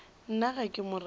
nna ga ke mo rate